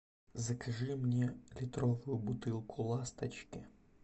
закажи мне литровую бутылку ласточки